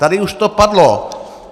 Tady už to padlo.